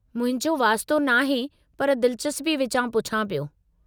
मुंहिंजो वास्तो नाहे पर दिलचस्पी विचां पूछां पियो।